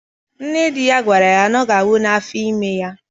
Nne di ya gwara ya na ọ ga-anwu na afọ ime ya